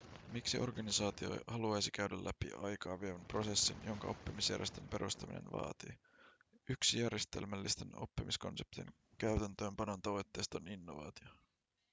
miksi organisaatio haluaisi käydä läpi aikaa vievän prosessin jonka oppimisjärjestön perustaminen vaatii yksi järjestelmällisten oppimiskonseptien käytäntöönpanon tavoitteista on innovaatio